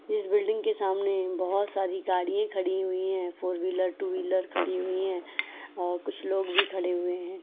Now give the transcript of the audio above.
इस बिल्डिंग के सामने बहुत सारी गाड़ियां खड़ी हुई है फोर व्हीलर टू व्हीलर खड़ी हुई है और कुछ लोग भी खड़े हुए हैं।